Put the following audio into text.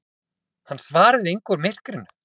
Hann svaraði engu úr myrkrinu.